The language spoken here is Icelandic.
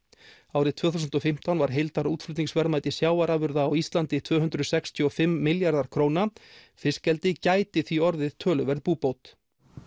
árið tvö þúsund og fimmtán var heildarútflutningsverðmæti sjávarafurða á Íslandi tvö hundruð sextíu og fimm milljarðar króna fiskeldi gæti því orðið töluverð búbót